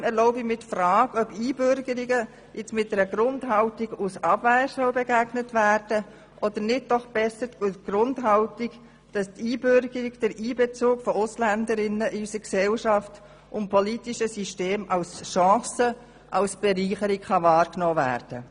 Trotzdem erlaube ich mir die Frage, ob Einbürgerungen mit einer Grundhaltung der Abwehr begegnet werden soll, oder ob nicht die Grundhaltung besser ist, dass die Einbürgerung von AusländerInnen in unsere Gesellschaft und in das politische System als Chance und Bereicherung wahrgenommen wird.